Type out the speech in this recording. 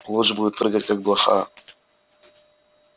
луч будет прыгать как блоха